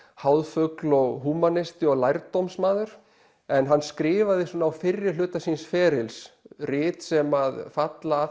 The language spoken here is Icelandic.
háðfugl og húmanisti og en hann skrifaði svona á fyrrihluta síns ferils rit sem að falla að